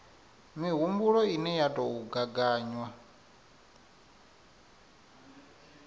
mihumbulo ine ya tou gaganywa